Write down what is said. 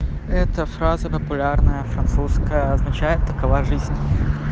эта фраза на популярная французская означает такова жизнь